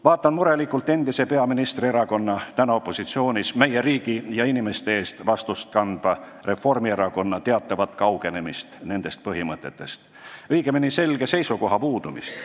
Vaatan murelikult endise peaministri erakonna, praegu opositsioonis oleva ning meie riigi ja inimeste eest vastutust kandva Reformierakonna teatavat kaugenemist nendest põhimõtetest, õigemini, selge seisukoha puudumist.